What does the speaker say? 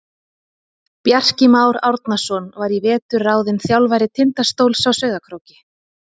Bjarki Már Árnason var í vetur ráðinn þjálfari Tindastóls á Sauðárkróki.